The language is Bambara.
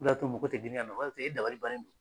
O de y'a to mɔgɔw tɛ girin ka na e dabali bannen do.